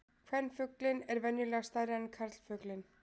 Kvenfuglinn er venjulega stærri en karlfuglinn.